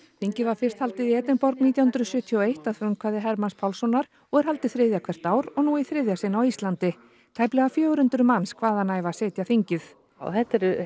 þingið var fyrst haldið í Edinborg nítján hundruð sjötíu og eitt að frumkvæði Hermanns Pálssonar og er haldið þriðja hvert ár og nú í þriðja sinn á Íslandi tæplega fjögur hundruð manns hvaðanæva sitja þingið þetta er